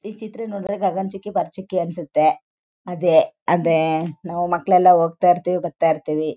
ಈ ಚಿತ್ರ ನೋಡಿದ್ರೆ ಗಗನ್ ಚುಕ್ಕಿ ಬರ ಚುಕ್ಕಿ ಅನುಸುತ್ತೆ. ಅದೇ ಅದೇ ಅಹ್ ಅಹ್ ಮಕ್ಕಳೆಲ್ಲ ಹೋಗ್ತಾ ಇರ್ತಿವಿ. ಬರ್ತಾ ಇರ್ತಿವಿ.